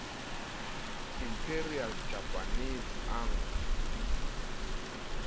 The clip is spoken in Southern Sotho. imperial japanese army